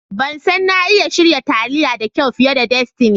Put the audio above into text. Ban san na iya shirya taliya da kyau fiye da Destiny.